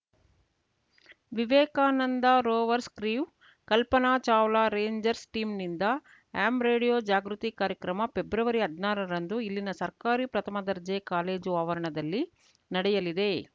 Vivekananda rovers crew Kalpana Chawla rangers ಟೀಂನಿಂದ ham radio ಜಾಗೃತಿ ಕಾರ್ಯಕ್ರಮ ಪ್ರೆಬ್ರವರಿಹದ್ನಾರಾರಂದು ಇಲ್ಲಿನ ಸರ್ಕಾರಿ ಪ್ರಥಮ ದರ್ಜೆ ಕಾಲೇಜು ಆವರಣದಲ್ಲಿ ನಡೆಯಲಿದೆ